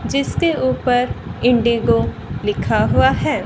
जिसके ऊपर इंडिगो लिखा हुआ है।